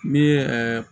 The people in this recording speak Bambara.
Min ye